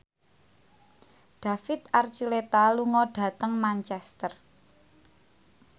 David Archuletta lunga dhateng Manchester